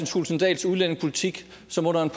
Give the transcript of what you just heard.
thulesen dahls udlændingepolitik som under en